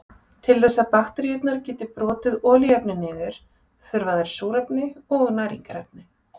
Til þess að bakteríurnar geti brotið olíuefni niður þurfa þær súrefni og næringarefni.